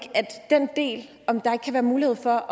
kan være mulighed for